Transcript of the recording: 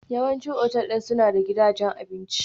Yawancin otal ɗin suna da gidajen abinci.